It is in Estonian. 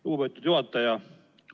Lugupeetud juhataja!